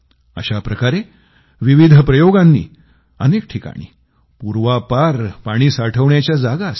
अशा प्रकारे विविध प्रयोगांनी अनेक ठिकाणी पूर्वापार पाणी साठवण्याच्या जागा असतील